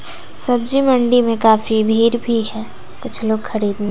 सब्जी मंडी में काफी भीड़ भी है कुछ लोग खरीदने--